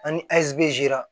Ani ɛsibɛsi